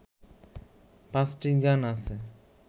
পাঁচটি গান আছে